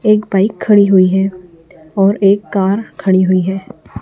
एक बाइक खड़ी हुई है और एक कार खड़ी हुई है।